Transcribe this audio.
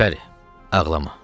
Gülpəri, ağlama.